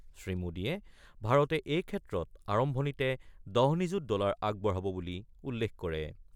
শ্ৰীমোডীয়ে ভাৰতে এইক্ষেত্ৰত আৰম্ভণিতে ১০ নিযুত ডলাৰ আগবঢ়াব বুলি উল্লেখ কৰে।